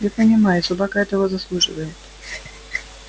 я понимаю собака этого заслуживает